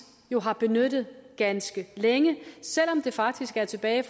har benyttet ganske længe selv om det faktisk var tilbage